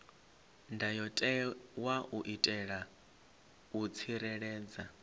ndayotewa u itela u tsireledza